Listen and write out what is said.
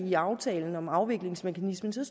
i aftalen om afviklingsmekanismen